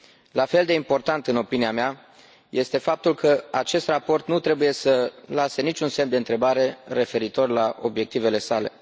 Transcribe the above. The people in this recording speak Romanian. La fel de important, în opinia mea, este faptul că acest raport nu trebuie să lase niciun semn de întrebare referitor la obiectivele sale.